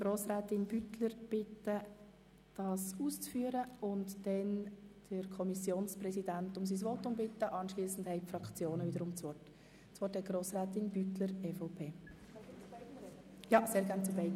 Grossrätin Beutler hat das Wort für die Erläuterung beider Anträge, anschliessend sprechen der Kommissionspräsident und dann die Fraktionen.